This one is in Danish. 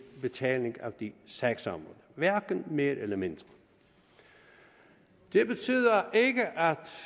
betaling af de sagsområder hverken mere eller mindre det betyder ikke at